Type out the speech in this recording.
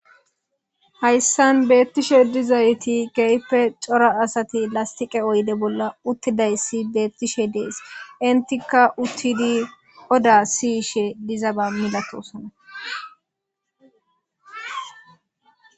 hayssan beettishe dizayti geyppe cora asati lastiqe oyde bolla uttidayssi beettishe dees intikka uttidi oda siyishe diza ba milatosona